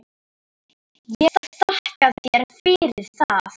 Ég þakka þér fyrir það.